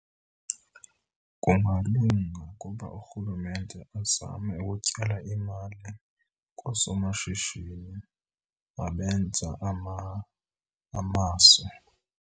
Kungalunga ukuba urhulumente azame ukutyala imali koosomashishini abenza amaso.